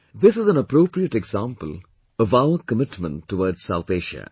This is an appropriate example of our commitment towards South Asia